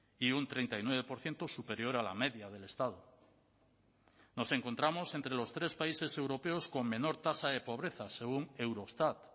y un treinta y nueve por ciento superior a la media del estado nos encontramos entre los tres países europeos con menor tasa de pobreza según eurostat